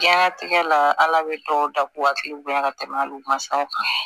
Diɲɛlatigɛ la ala bɛ dɔw da k'u hakili bonya ka tɛmɛ hali u ma saw kan